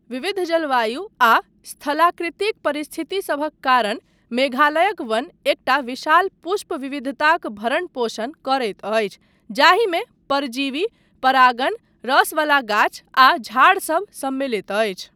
विविध जलवायु आ स्थलाकृतिक परिस्थितिसभक कारण मेघालयक वन एकटा विशाल पुष्प विविधताक भरण पोषण करैत अछि जाहिमे परजीवी, परागण, रसवला गाछ आ झाड़सब सम्मिलित अछि।